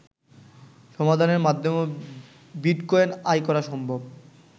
সমাধানের মাধ্যমেও বিটকয়েন আয় করা সম্ভব